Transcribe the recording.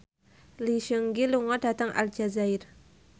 Lee Seung Gi lunga dhateng Aljazair